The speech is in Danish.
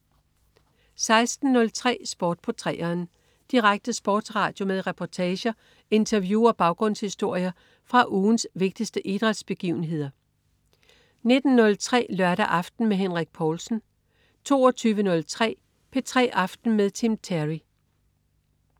16.03 Sport på 3'eren. Direkte sportsradio med reportager, interview og baggrundshistorier fra ugens vigtigste idrætsbegivenheder 19.03 Lørdag aften med Henrik Povlsen 22.03 P3 aften med Tim Terry